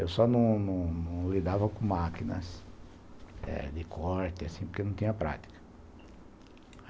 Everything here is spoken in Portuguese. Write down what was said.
Eu só não não não não lidava com máquinas de corte, assim, porque não tinha prática.